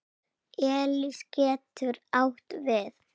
Elís getur átt við